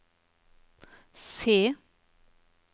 C